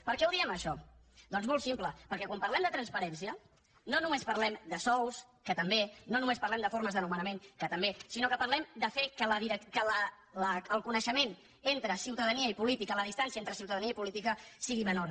per què ho diem això doncs molt simple perquè quan parlem de transparència no només parlem de sous que també no només parlem de formes de nomenament que també sinó que parlem de fer que la distància entre ciutadania i política sigui menor